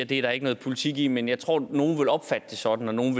det er der ikke noget politik i men jeg tror at nogle vil opfatte det sådan og at nogle